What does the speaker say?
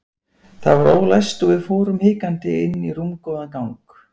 Það var ólæst og við fórum hikandi inn í rúmgóðan gang.